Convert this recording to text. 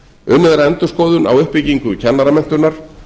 unnið er að endurskoðun á uppbyggingu kennaramenntunar